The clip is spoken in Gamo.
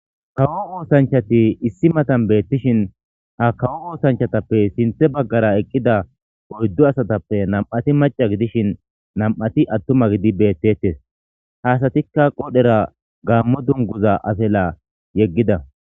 kawo oosanchati issi matan beettishin ha kawo oosanchatappe sinthe baggara eqqida oyddu asatappe nam7ati maca gidishin nam7ati attuma gidi beettettes haasatikka qodhera gaammo dunguza afela yeggida